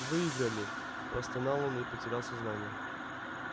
выиграли простонал он и потерял сознание